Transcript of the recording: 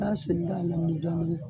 B'a sen ni k'a lamini jɔn